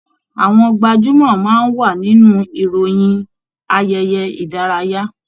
Àwọn gbajúmọ̀ máa n wa nínú ìròyìn ayẹyẹ ìdárayá.